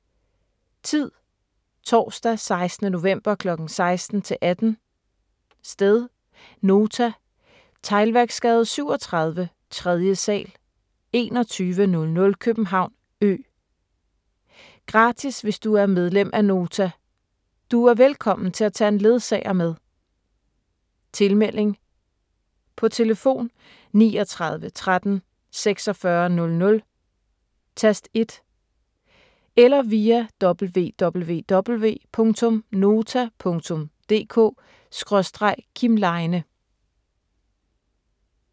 Tid: Torsdag 16. november kl. 16-18 Sted: Nota. Teglværksgade 37, 3. sal, 2100 København Ø Gratis hvis du er medlem af Nota. Du er velkommen til at tage en ledsager med. Tilmelding: På telefon 39 13 46 00, tast 1 eller via www.nota.dk/kimleine